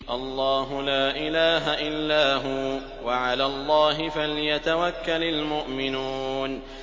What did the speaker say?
اللَّهُ لَا إِلَٰهَ إِلَّا هُوَ ۚ وَعَلَى اللَّهِ فَلْيَتَوَكَّلِ الْمُؤْمِنُونَ